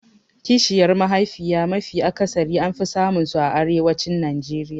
Kishiyar mahaifiya mafi akasari an fi samun su a arewacin Najeriya